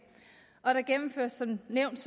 og der gennemføres som nævnt